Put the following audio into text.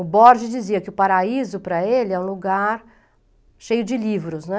O Borges dizia que o paraíso para ele é um lugar cheio de livros, né?